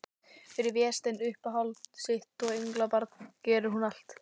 Fyrir Véstein, uppáhald sitt og englabarn, gerir hún allt.